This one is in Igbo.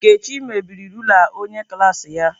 Nkechi mebiri rula onye klaasị ya.